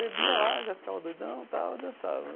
Bebia lá, já ficava doidão tal e dançava.